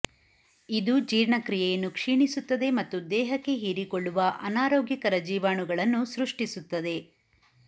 ಇದು ಜೀರ್ಣಕ್ರಿಯೆಯನ್ನು ಕ್ಷೀಣಿಸುತ್ತದೆ ಮತ್ತು ದೇಹಕ್ಕೆ ಹೀರಿಕೊಳ್ಳುವ ಅನಾರೋಗ್ಯಕರ ಜೀವಾಣುಗಳನ್ನು ಸೃಷ್ಟಿಸುತ್ತದೆ